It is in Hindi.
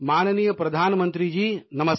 माननीय प्रधानमंत्री जी वणकम्म नमस्कार